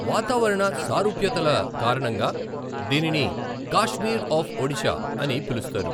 వాతావరణ సారూప్యతల కారణంగా దీనిని 'కాశ్మీర్ ఆఫ్ ఒడిషా' అని పిలుస్తారు.